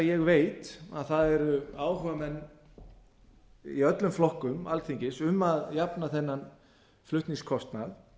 ég veit að það eru áhugamenn í öllum flokkum alþingis um að jafna þennan flutningskostnað